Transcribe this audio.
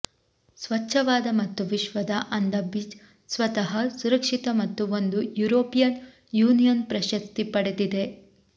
ಸ್ವಚ್ಛವಾದ ಮತ್ತು ವಿಶ್ವದ ಅಂದ ಬೀಚ್ ಸ್ವತಃ ಸುರಕ್ಷಿತ ಮತ್ತು ಒಂದು ಯುರೋಪಿಯನ್ ಯೂನಿಯನ್ ಪ್ರಶಸ್ತಿ ಪಡೆದಿದೆ